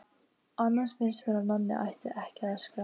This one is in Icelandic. Annars finnst mér að Nonni ætti ekki að öskra.